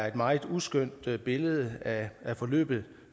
et meget uskønt billede af forløbet